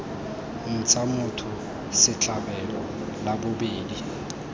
ntsha motho setlhabelo la bobedi